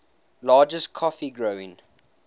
largest coffee growing